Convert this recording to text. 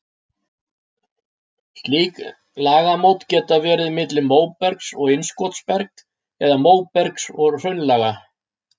Slík lagamót geta verið milli móbergs og innskotsbergs eða móbergs og hraunlaga.